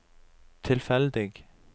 tilfeldig